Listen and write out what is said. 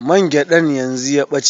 Man gyaɗan yanzu ya ɓace.